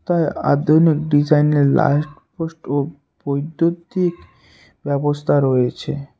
তাই আধুনিক ডিজাইন এর লাইট পোস্ট ও বৈদ্যুতিক ব্যবস্থা রয়েছে।